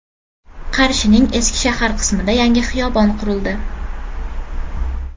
Qarshining eski shahar qismida yangi xiyobon qurildi.